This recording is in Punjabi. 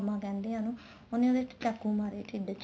ਪੰਮਾ ਕਹਿੰਦੇ ਏ ਉਹਨੂੰ ਉਹਨੇ ਉਹਦੇ ਚਾਕੂ ਮਾਰੇ ਢਿੱਡ ਚ